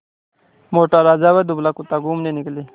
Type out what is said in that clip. मोटा राजा व दुबला कुत्ता घूमने निकले